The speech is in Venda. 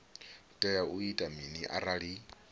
tea u ita mini arali